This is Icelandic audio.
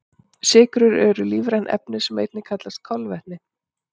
Sykrur eru lífræn efni sem einnig kallast kolvetni.